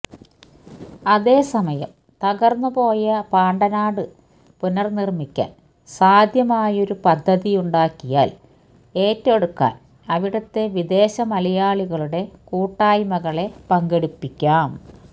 അതേസമയം തകർന്നുപോയ പാണ്ടനാട് പുനർനിർമിക്കാൻ സാധ്യമായൊരു പദ്ധതിയുണ്ടാക്കിയാൽ ഏറ്റെടുക്കാൻ അവിടത്തെ വിദേശമലയാളികളുടെ കൂട്ടായ്മകളെ പങ്കെടുപ്പിക്കാം